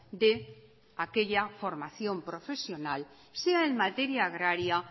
de aquella formación profesional sea en materia agraria